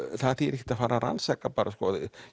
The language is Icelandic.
það þýðir ekkert að fara að rannsaka bara